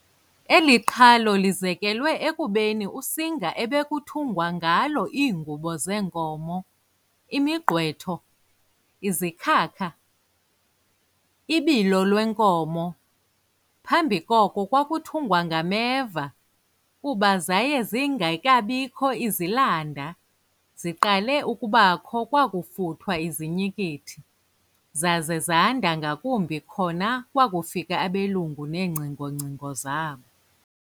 Eli qhalo lizekelwe ekubeni usinga ebekuthungwa ngalo iingubo zenkomo, imigqwetho, izikhaka, ibilolwenkomo- Pambi koko kwakuthungwa ngameva, kuba zaye zingekabikho izilanda, ziqale ukuba kho kwakufuthwa izinyikithi, zaze zanda ngakumbi khona kwakufika abelungu neengcingongcingo zabo.